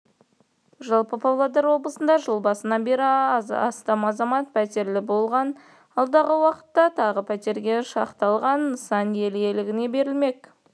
жалпы павлодар облысында жыл басынан бері астам азамат пәтерлі болған алдағы уақытта тағы пәтерге шақталған нысан ел игілігіне берілмек